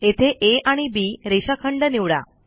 येथे आ आणि बी रेषाखंड निवडा